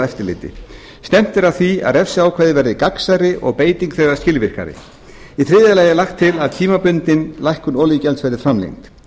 eftirliti stefnt er að því að refsiákvæði verði gagnsærri og beiting þeirra skilvirkari í þriðja lagi er lagt til að tímabundin lækkun olíugjalds verði framlengd